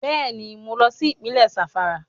Bẹ́ẹ̀ni mo lọ sí Ìpínlẹ̀ Zàmfàrà